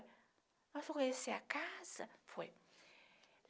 Nós fomos conhecer a casa, foi.